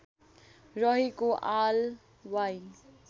रहेको आलवाई